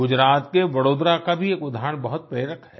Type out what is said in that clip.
गुजरात के वडोदरा का भी एक उदहारण बहुत प्रेरक है